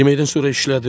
Yeməkdən sonra işlədim.